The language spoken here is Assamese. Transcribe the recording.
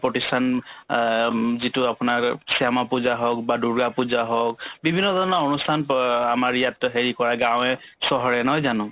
প্ৰতিষ্ঠান অম্ যিটো আপোনাৰ শ্যামা পূজা হওক বা দূৰ্গা পূজা হওক বিভিন্ন ধৰণৰ অনুষ্ঠান প আমাৰ ইয়াত হেৰি কৰাই গাঁৱে-চহৰে নহয় জানো